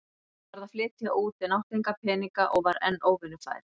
Ég varð að flytja út en átti enga peninga og var enn óvinnufær.